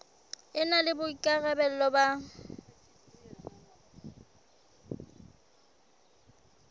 e na le boikarabelo ba